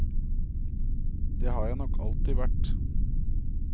Det har jeg nok alltid vært.